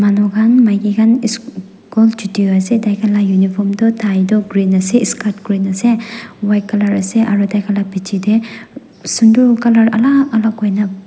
manu kan maiki kan ss cool chuti hoi ase taikan laga uniform toh tie toh green ase skirt green ase white colour ase aro taikan laga bechi teh sundor colour alak alak hoikina.